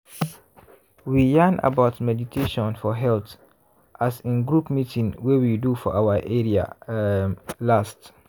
we yarn about meditation for health as in group meeting wey we do for our area um last.